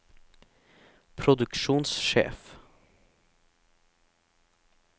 produksjonssjef